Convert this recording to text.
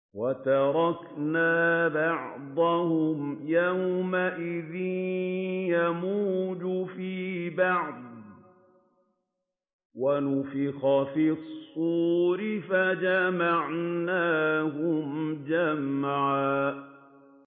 ۞ وَتَرَكْنَا بَعْضَهُمْ يَوْمَئِذٍ يَمُوجُ فِي بَعْضٍ ۖ وَنُفِخَ فِي الصُّورِ فَجَمَعْنَاهُمْ جَمْعًا